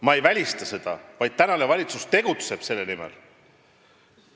Ma ei välista seda, praegune valitsus tegutseb selle nimel.